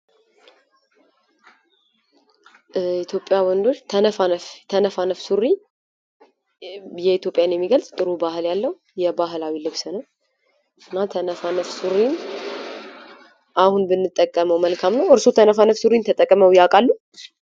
በኢትዮጵያ ወንዶች ተነፋነፍ ሱሪ የኢትዮጵያውያን የሚገልጽ ጥሩ ባህል ያለው የባህላዊ ልብስ ነው ። እና ተነፋነፍ ሱሪን አሁን ብንጠቀመው መልካም ነው ? እርስዎ ተነፋነፍ ሱሪን ተጠቅመው ያውቃሉ ?